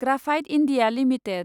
graphite India limited